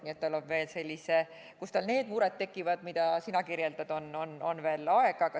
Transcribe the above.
Nii et tal on selleni, kus tal need mured tekivad, mida sina kirjeldad, veel aega.